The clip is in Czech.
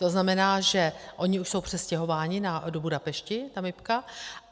To znamená, že oni už jsou přestěhováni do Budapešti, ta MIB.